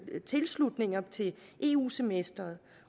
tilslutninger til eu semesteret